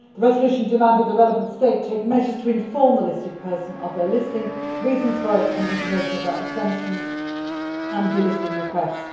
The resolution demanded that the relevant state take measures to inform the listed person of their listing, the reasons for it and information about exemptions and delisting requests.